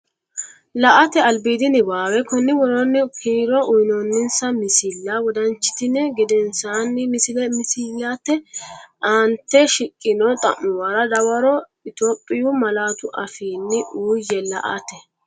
La”ate albiidi niwaawe Konni woroonni kiro uyinoonninsa misilla wodanchitini gedensaanni misillate aante shiqqino xa’muwara dawaro Itophiyu malaatu afiinni uuyye La”ate.